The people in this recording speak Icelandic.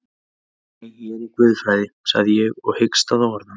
Nei, ég er í guðfræði, sagði ég og hikstaði á orðunum.